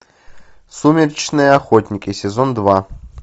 сумеречные охотники сезон два